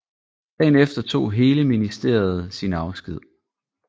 Dagen efter tog hele ministeriet sin afsked